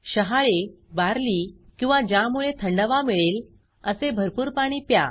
शहाळे barley जव किंवा ज्यामुळे थंडावा मिळेल असे भरपूर पाणी प्या